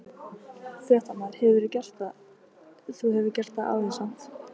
Fréttamaður: Hefurðu gert það, þú hefur gert það áður samt?